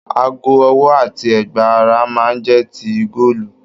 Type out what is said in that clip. Aago ọwọ àti ẹgba ará máa n jẹ tí góòlù.